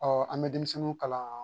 Ɔ an bɛ denmisɛnninw kalan